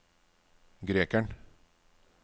grekeren